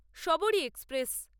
Sabari express